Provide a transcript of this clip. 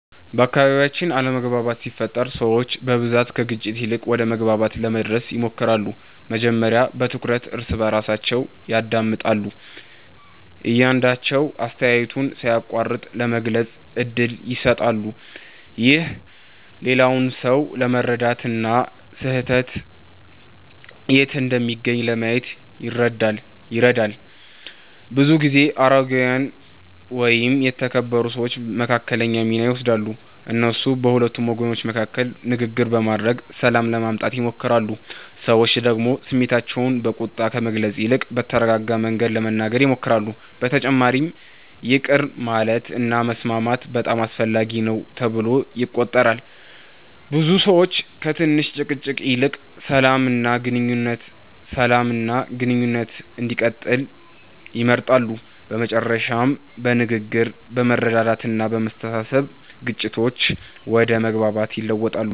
በአካባቢያችን አለመግባባት ሲፈጠር ሰዎች በብዛት ከግጭት ይልቅ ወደ መግባባት ለመድረስ ይሞክራሉ። መጀመሪያ በትኩረት እርስ በርሳቸውን ያዳምጣሉ፣ እያንዳቸዉ አስተያየቱን ሳይቋረጥ ለመግለጽ እድል ይሰጣሉ። ይህ ሌላውን ሰው ለመረዳት እና ስህተት የት እንደሚገኝ ለማየት ይረዳል። ብዙ ጊዜ አረጋዊያን ወይም የተከበሩ ሰዎች መካከለኛ ሚና ይወስዳሉ። እነሱ በሁለቱ ወገኖች መካከል ንግግር በማድረግ ሰላም ለማምጣት ይሞክራሉ። ሰዎች ደግሞ ስሜታቸውን በቁጣ ከመግለጽ ይልቅ በተረጋጋ መንገድ ለመናገር ይሞክራሉ። በተጨማሪም ይቅር ማለት እና መስማማት በጣም አስፈላጊ ነው ተብሎ ይቆጠራል። ብዙ ሰዎች ከትንሽ ጭቅጭቅ ይልቅ ሰላም እና ግንኙነት እንዲቀጥል ይመርጣሉ። በመጨረሻም በንግግር፣ በመረዳዳት እና በመተሳሰብ ግጭቶች ወደ መግባባት ይለወጣሉ።